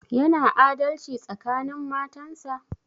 Yana adalci tsakanin matan sa?